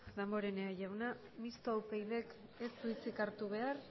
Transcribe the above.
damborenea jauna mistoa upydk ez du hitzik hartu behar